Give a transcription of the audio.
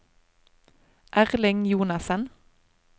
Erling Jonassen